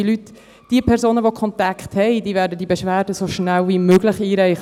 Liebe Leute, Personen mit Kontakten werden diese Beschwerde so schnell wie möglich einreichen.